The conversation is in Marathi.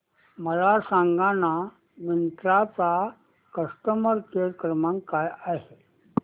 मला सांगाना मिंत्रा चा कस्टमर केअर क्रमांक काय आहे